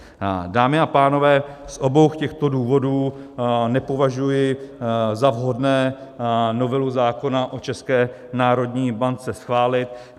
Dámy a pánové, z obou těchto důvodů nepovažuji za vhodné novelu zákona o České národní bance schválit.